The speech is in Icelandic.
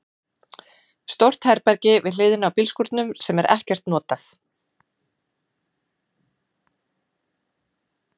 Stórt herbergi við hliðina á bílskúrnum sem er ekkert notað.